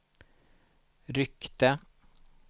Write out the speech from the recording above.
ryckte